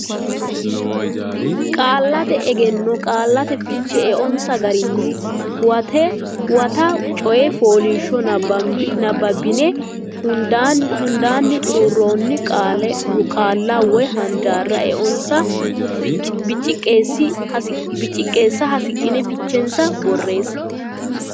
Qaallate Egenno Qaallate Fiche Eonsa Garinni Huwata coy fooliishshuwa nabbabbine hundaanni xuruurroonni qaalla woy handaarra eonsa biciqqeessa horonsidhine fichensa borreesse.